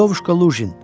Lyovuşka Luqin.